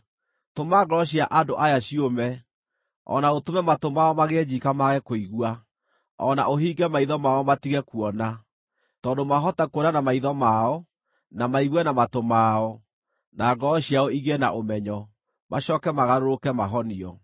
Tũma ngoro cia andũ aya ciũme, o na ũtũme matũ mao magĩe njiika mage kũigua, o na ũhinge maitho mao matige kuona. Tondũ maahota kuona na maitho mao, na maigue na matũ mao, na ngoro ciao igĩe na ũmenyo, macooke magarũrũke mahonio.”